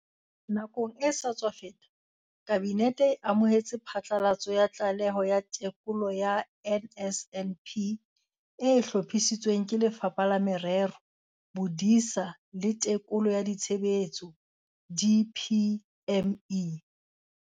Nakong e sa tswa feta, Kabinete e amohetse phatlalatso ya Tlaleho ya Tekolo ya NSNP e hlophisitsweng ke Lefapha la Merero, Bodisa le Tekolo ya Tshebetso, DPME.